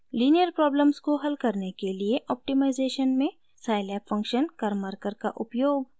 linear problems को हल करने के लिए ऑप्टिमाइज़ेशन में scilab function karmarkar का उपयोग